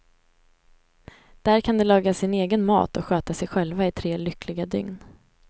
Där kan de laga sin egen mat och sköta sig själva i tre lyckliga dygn.